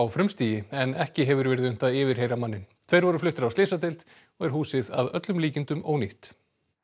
frumstigi en ekki hefur verið unnt að yfirheyra manninn tveir voru fluttir á slysadeild og er húsið að öllum líkindum ónýtt